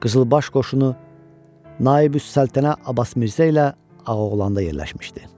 Qızılbaş qoşunu Naib-üs-Səltənə Abbas Mirzə ilə Ağoğlanda yerləşmişdi.